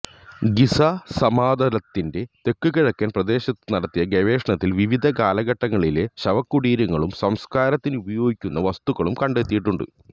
Giza സമതലത്തിന്റെ തെക്കുകിഴക്കൻ പ്രദേശത്തു നടത്തിയ ഗവേഷണത്തിൽ വിവിധ കാലഘട്ടങ്ങളിലെ ശവകുടീരങ്ങളും സംസ്കാരത്തിനുപയോഗിക്കുന്ന വസ്തുക്കളും കണ്ടെത്തിയിട്ടുണ്ട്